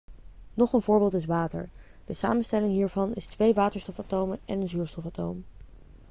nog een voorbeeld is water de samenstelling hiervan is twee waterstofatomen en een zuurstofatoom